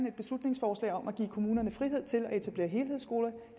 et beslutningsforslag om at give kommunerne frihed til at etablere helhedsskoler